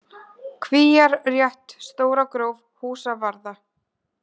Kvíar, Rétt, Stóragróf, Húsavarða